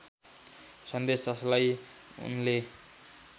सन्देश जसलाई उनले